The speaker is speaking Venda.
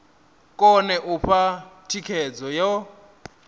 kone u fha thikhedzo yo